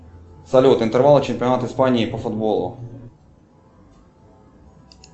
салют интервал чемпионат испании по футболу